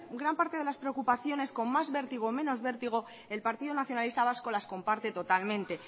gran parte de las preocupaciones con más vértigo o menos vértigo el partido nacionalista vasco las comparte totalmente